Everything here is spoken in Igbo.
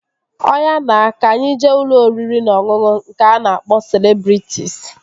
Ọya na, ka anyị jee ụlọ oriri na ọṅụṅụ nke a na-akpọ Celebrịtịs